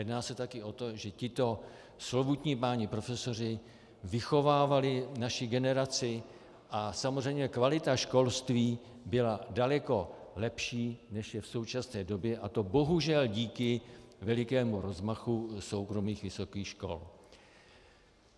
Jedná se taky o to, že tito slovutní páni profesoři vychovávali naší generaci, a samozřejmě kvalita školství byla daleko lepší, než je v současné době, a to bohužel díky velikému rozmachu soukromých vysokých škol.